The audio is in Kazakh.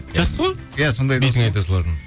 жақсы ғой бетіңе айта салатын